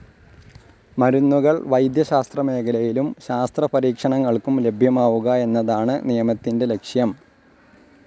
മരുന്നുകൾ വൈദ്യശാസ്ത്രമേഖലയിലും ശാസ്ത്രപരീക്ഷണങ്ങൾക്കും ലഭ്യമാവുക എന്നതാണ് നിയമത്തിന്റെ ലക്ഷ്യം.